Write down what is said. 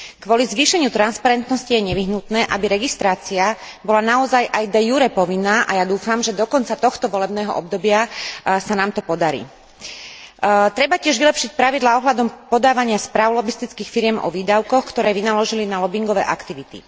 Kvôli zvýšeniu transparentnosti je nevyhnutné, aby registrácia bola naozaj aj de jure povinná a ja dúfam, že dokonca tohto volebného obdobia sa nám to podarí. Treba tiež vylepšiť pravidlá ohľadom podávania správ lobistických firiem o výdavkoch, ktoré vynaložili na lobingové aktivity.